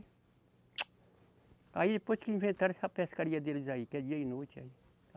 Aí depois que inventaram essa pescaria deles aí, que é dia e noite aí.